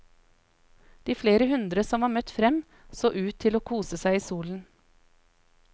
De flere hundre som var møtt frem så ut til å kose seg i solen.